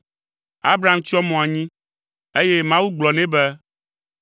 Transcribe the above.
Abram tsyɔ mo anyi, eye Mawu gblɔ nɛ be,